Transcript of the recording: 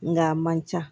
Nga a man ca